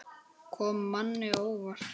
Kom manni á óvart?